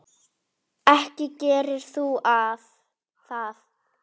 Ekki gerir þú það!